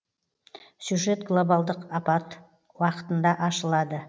сюжет глобалдық апат уақытында ашылады